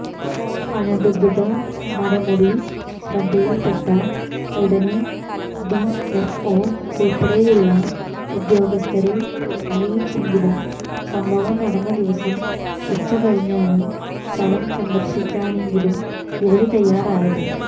അനധിക്യത മരമുറി ശ്രദ്ധയില്പ്പെട്ട ഉടനെ ഡിഎഫ്ഒ ഉള്പ്പടെയുള്ള ഉദ്യോഗസ്ഥരെ അറിയിച്ചെങ്കിലും സംഭവം നടന്നദിവസം ഉച്ചക്കഴിഞ്ഞാണ് സ്ഥലം സന്ദര്ശിക്കാനെങ്കിലും ഇവര് തയ്യാറായത്